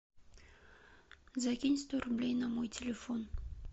закинь сто рублей на мой телефон